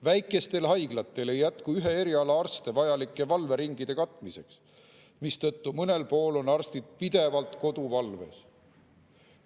Väikestel haiglatel ei jätku eriala arste vajalike valveringide katmiseks, mistõttu mõnel pool on arstid pidevalt koduvalves.